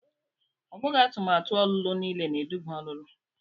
Ọ bụghị atụmatụ ọlụlụ niile na-eduba ọlụlụ.